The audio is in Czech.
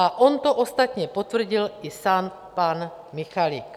A on to ostatně potvrdil i sám pan Michalik.